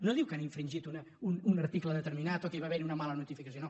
no diu que han infringit un article determinat o que hi va haver una mala notificació no